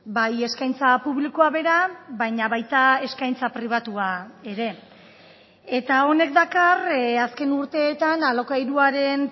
bai eskaintza publikoa bera baina baita eskaintza pribatua ere eta honek dakar azken urteetan alokairuaren